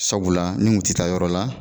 Sabula ni n kun ti taa yɔrɔ la.